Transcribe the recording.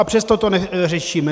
A přesto to neřešíme.